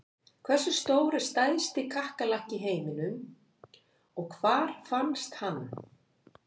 Hversu stór er stærsti kakkalakki í heiminum og hvar fannst hann?